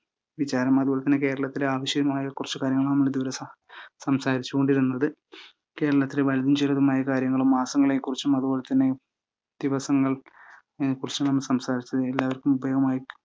വിചാരമായതും കേരളത്തിലെ ആവശ്യമായ കുറച്ചു കാര്യങ്ങളാണ് നമ്മളിതുവരെ സം ~ സംസാരിച്ചുകൊണ്ടിരിന്നത്. കേരളത്തിലെ വലുതും ചെറുതുമായ കാര്യങ്ങളും മാസങ്ങളെക്കുറിച്ചും അതുപോലെ തന്നെ ദിവസങ്ങൾ ക്കുറിച്ചും എല്ലാവർക്കും ഉപയോഗമായിട്ട്